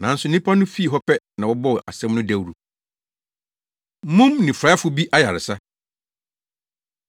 Nanso nnipa no fii hɔ pɛ na wɔbɔɔ asɛm no dawuru. Mum Nifuraefo Bi Ayaresa